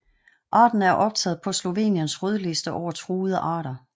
Arten er optaget på Sloveniens Rødliste over truede arter